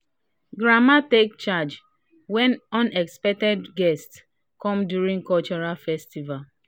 grandma take charge when unexpected guests come during cultural festival